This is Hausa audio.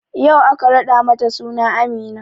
Yau aka raɗa mata suna Amina